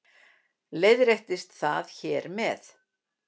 Leiðréttist það hér með